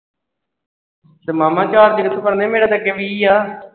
ਤੇ ਮਾਮਾ charge ਕਿਥੋਂ ਫੜਨਾ ਈ ਮੇਰਾ ਤੇ ਅੱਗੇ ਵੀਹ ਆ ।